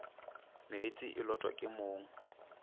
meetse e lotwa ke mong